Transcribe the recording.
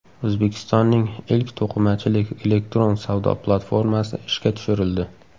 O‘zbekistonning ilk to‘qimachilik elektron savdo platformasi ishga tushirildi.